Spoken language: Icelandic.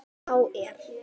Þá er